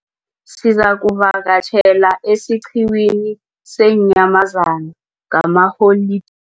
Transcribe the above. Sizakuvakatjhela esiqhiwini seenyamazana ngalamaholideyi.